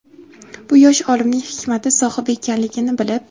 bu yosh olimning hikmat sohibi ekanligini bilib:.